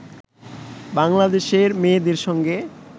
বাংলাদেশের মেয়েদের সঙ্গে